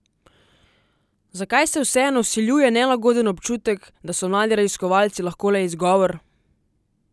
Zakaj se vseeno vsiljuje nelagoden občutek, da so mladi raziskovalci lahko le izgovor?